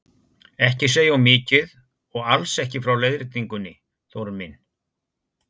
Ekki segja of mikið og alls ekki frá leiðréttingunni, Þórunn mín!